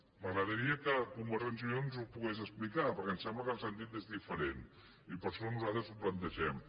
m’agradaria que convergència i unió ens ho pogués explicar perquè em sembla que el sentit és diferent i per això nosaltres ho plantegem